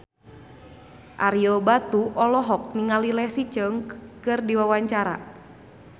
Ario Batu olohok ningali Leslie Cheung keur diwawancara